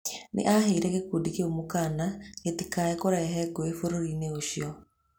Nĩ aheire gĩkundi kĩu mũkaana gĩtikae kũrehe ngũĩ bũrũri-inĩ ũcio.